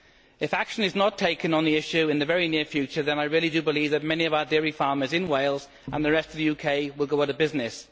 If action is not taken on the issue in the very near future then I really do believe that many of our dairy farmers in Wales, and the rest of the UK, will go out of business.